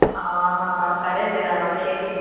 ஆமாம் Mam correct தான் Mam சரி